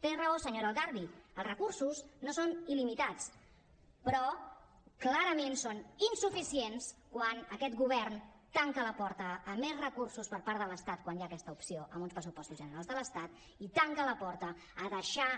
té raó senyora el garbhi els recursos no són il·limitats però clarament són insuficients quan aquest govern tanca la porta a més recursos per part de l’estat quan hi ha aquesta opció amb uns pressupostos generals de l’estat i tanca la porta a deixar